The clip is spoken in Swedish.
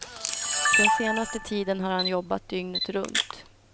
Den senaste tiden har han jobbat dygnet runt.